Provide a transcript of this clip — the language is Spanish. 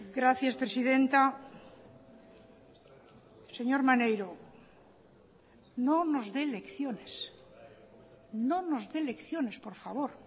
gracias presidenta señor maneiro no nos dé lecciones no nos dé lecciones por favor